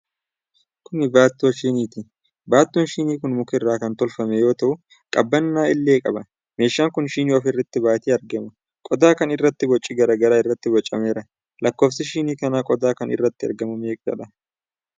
Kun baattoo shiiniiti. Baattoon shinii kun muka irraa kan tolfame yoo ta'u, qabannaa illee qaba. Meeshaan kun shinii of irratti baatee argama. Qodaa kana irratti boci garaa garaa irratti bocameera. Lakkoofsi shinii qodaa kana irratti argamu meeqadha?